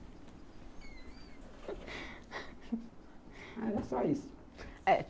Era só isso. É.